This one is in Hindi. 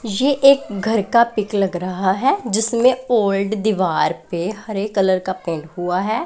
ये एक घर का पिक लग रहा है जिसमें ओल्ड दीवार पे हरे कलर का पेंट हुआ है।